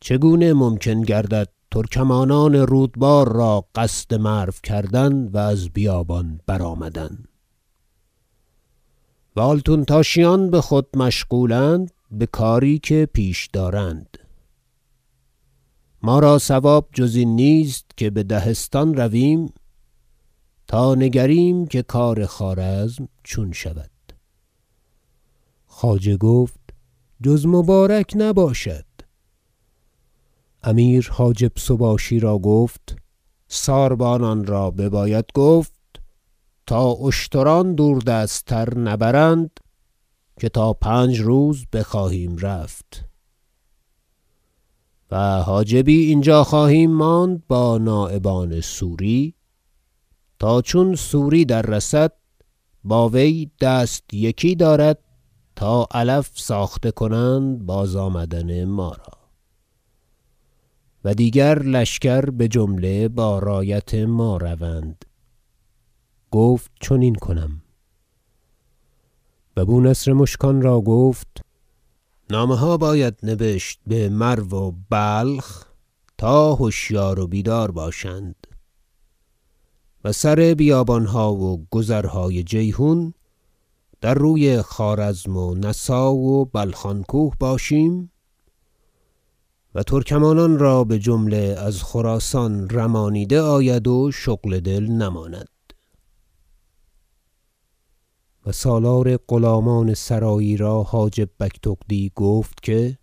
چگونه ممکن گردد ترکمانان رودبار را قصد مرو کردن و از بیابان برآمدن و آلتونتاشیان بخود مشغولند بکاری که پیش دارند ما را صواب جز این نیست که به دهستان رویم تا نگریم که کار خوارزم چون شود خواجه گفت جز مبارک نباشد امیر حاجب سباشی را گفت ساربانان را بباید گفت تا اشتران دور- دست تر نبرند که تا پنج روز بخواهیم رفت و حاجبی اینجا خواهیم ماند با نایبان سوری تا چون سوری در رسد با وی دست یکی دارد تا علف ساخته کنند بازآمدن ما را و دیگر لشکر بجمله با رایت ما روند گفت چنین کنم و بونصر مشکان را گفت نامه ها باید نبشت بمرو و بلخ تا هشیار و بیدار باشند و سر بیابانها و گذرهای جیحون باحتیاط نگاه دارند که ما قصد دهستان داریم تا ازین جانب در روی خوارزم و نسا و بلخان کوه باشیم و ترکمانان را بجمله از خراسان رمانیده آید و شغل دل نماند و سالار غلامان سرایی را حاجب بگتغدی گفت که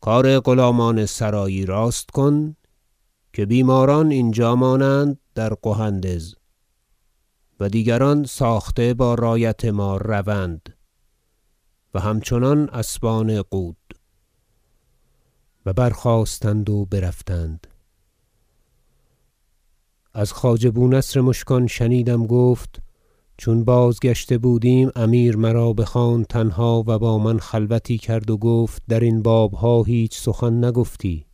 کار غلامان سرایی راست کن که بیماران اینجا مانند در قهندز و دیگران ساخته با رایت ما روند و همچنان اسبان قود و برخاستند و برفتند از خواجه بونصر مشکان شنیدم گفت چون بازگشته بودیم امیر مرا بخواند تنها و با من خلوتی کرد و گفت درین بابها هیچ سخن نگفتی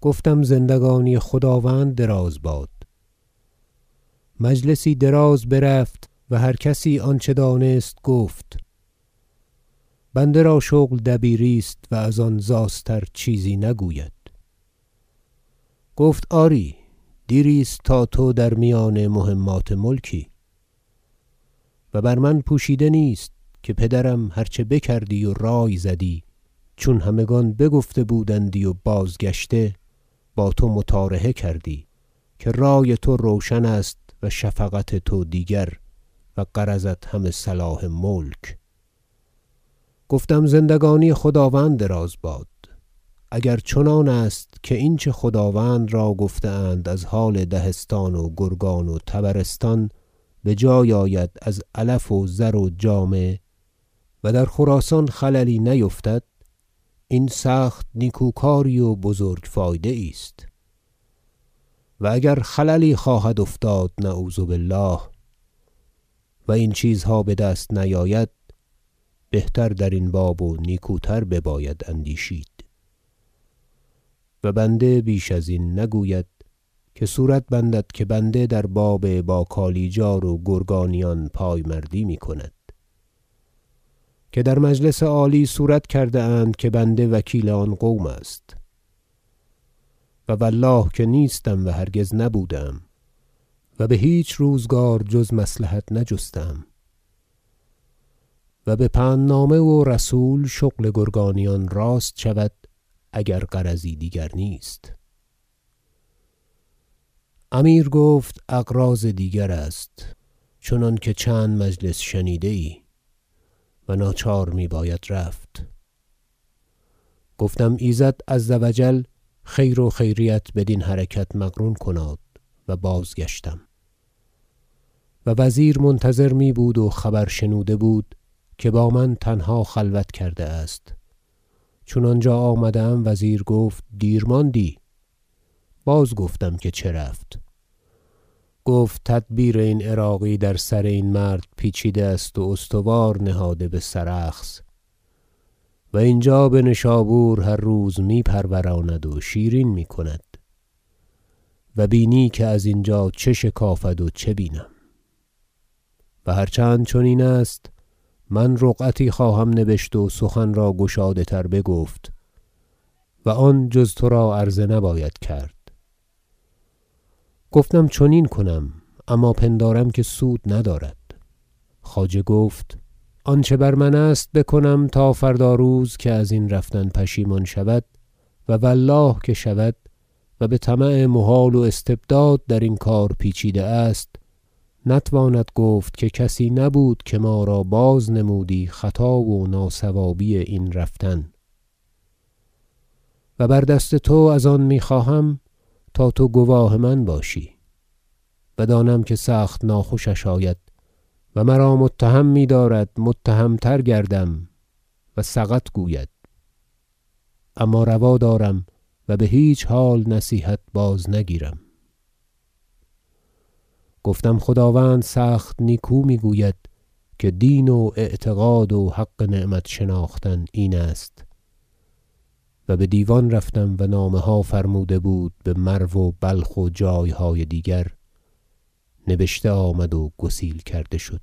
گفتم زندگانی خداوند دراز باد مجلسی دراز برفت و هر کسی آنچه دانست گفت بنده را شغل دبیری است و از آن زاستر چیزی نگوید گفت آری دیری است تا تو در میان مهمات ملکی و بر من پوشیده نیست که پدرم هر چه بکردی و رای زدی چون همگان بگفته بودندی و بازگشته با تو مطارحه کردی که رای تو روشن است و شفقت تو دیگر و غرضت همه صلاح ملک گفتم زندگانی خداوند دراز باد اگر چنان است که این چه خداوند را گفته اند از حال دهستان و گرگان و طبرستان بجای آید از علف و و زر و جامه و در خراسان خللی نیفتد این سخت نیکوکاری و بزرگ فایده یی است و اگر خللی خواهد افتاد نعوذ بالله و این چیزها بدست نیاید بهتر درین باب و نیکوتر بباید اندیشید و بنده بیش ازین نگوید که صورت بندد که بنده در باب با کالیجار و گرگانیان پایمردی میکند که در مجلس عالی صورت کرده اند که بنده وکیل آن قوم است و والله که نیستم و هرگز نبوده ام و بهیچ روزگار جز مصلحت نجسته ام و به پندنامه و رسول شغل گرگانیان راست شود اگر غرضی دیگر نیست امیر گفت اغراض دیگر است چنانکه چند مجلس شنیده ای و ناچار میباید رفت گفتم ایزد عز و جل خیر و خیریت بدین حرکت مقرون کناد و بازگشتم و وزیر منتظر میبود و خبر شنوده بود که با من تنها خلوت کرده است چون آنجا آمدم و وزیر گفت دیر ماندی بازگفتم که چه رفت گفت تدبیر این عراقی در سر این مرد پیچیده است و استوار نهاده بسرخس و اینجا بنشابور هر روز می پروراند و شیرین میکند و ببینی که ازینجا چه شکافد و چه بینم و هر چند چنین است من رقعتی خواهم نبشت و سخن را گشاده تر بگفت و آن جز ترا عرضه نباید کرد گفتم چنین کنم اما پندارم که سود ندارد خواجه گفت آنچه بر من است بکنم تا فردا روز که ازین رفتن پشیمان شود- و والله که شود و بطمع محال و استبداد درین کار پیچیده است - نتواند گفت که کسی نبود که ما را بازنمودی خطا و ناصوابی این رفتن- و بر دست تو از آن میخواهم تا تو گواه من باشی و دانم که سخت ناخوشش آید- و مرا متهم میدارد متهم تر گردم- و سقط گوید اما روا دارم و بهیچ حال نصیحت بازنگیرم گفتم خداوند سخت نیکو میگوید که دین و اعتقاد و حق نعمت شناختن این است و بدیوان رفتم و نامه ها فرموده بود بمرو و بلخ و جایهای دیگر نبشته آمد و گسیل کرده شد